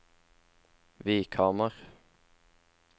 Vikhamar